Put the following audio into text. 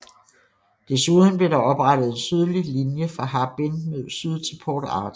Desuden blev der oprettet en sydlig linje fra Harbin mod syd til Port Arthur